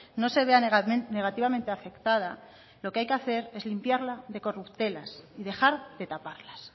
no se vea negativamente afectada lo que hay que hacer es limpiarla de corruptelas y dejar de taparlas